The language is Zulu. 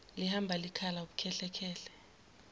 lihamba likhala ubukhehlekhehle